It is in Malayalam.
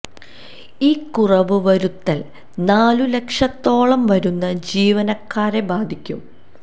ഈ കുറവ് വരുത്തല് നാലു ലക്ഷത്തോളം വരുന്ന ജീവനക്കാരെ ബാധിക്കും